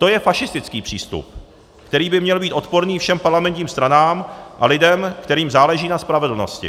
To je fašistický přístup, který by měl být odporný všem parlamentním stranám a lidem, kterým záleží na spravedlnosti.